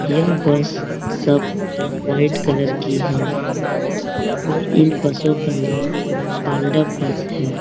यह बस सब white colour की हैं और इन बसों का नाम पांडव बस है ।